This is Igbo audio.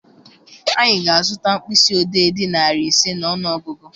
Anyị ga-azụta mkpịsị odee dị narị ise n'ọnụ ọgụgụ.